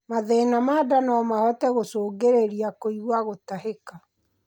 mathĩna ma ndaa nomahote gũcũngĩrĩrĩa kuigua gutahika